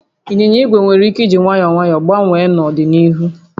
Ịnyịnya igwe nwere ike jiri nwayọọ nwayọọ gbanwee n'ọdịnihu